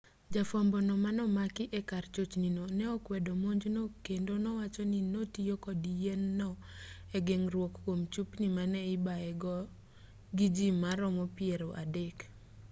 jafwambo no manomaki e kar chochni no ne okwedo monjno kendo nowacho ni notiyo kod yien no e geng'ruok kuom chupni mane ibaye godo gi ji maromo piero adek